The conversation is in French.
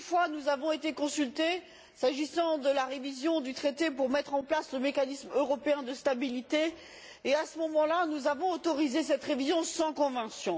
Nous avons déjà été consultés une fois s'agissant de la révision du traité pour mettre en place le mécanisme européen de stabilité, et à ce moment là, nous avons autorisé cette révision sans convention.